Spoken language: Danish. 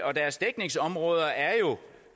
og deres dækningsområder er jo